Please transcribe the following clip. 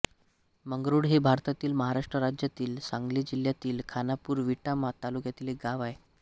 मंगरूळ हे भारतातील महाराष्ट्र राज्यातील सांगली जिल्ह्यातील खानापूर विटा तालुक्यातील एक गाव आहे